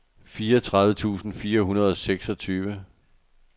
fireogtredive tusind fire hundrede og seksogtyve